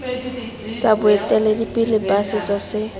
sa boeteledipele ba setso se